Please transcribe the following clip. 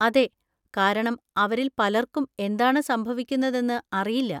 അതെ, കാരണം അവരിൽ പലർക്കും എന്താണ് സംഭവിക്കുന്നതെന്ന് അറിയില്ല.